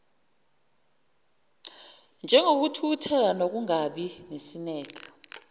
njengokuthukuthela nokungabi nesineke